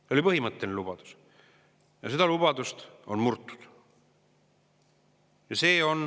See oli põhimõtteline lubadus ja seda lubadust on murtud.